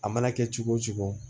A mana kɛ cogo o cogo